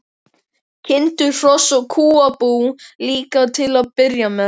Kindur, hross og kúabú líka til að byrja með.